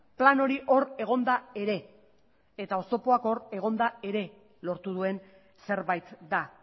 plan hori hor egonda ere oztopoak hor egonda ere lortu duen zerbait da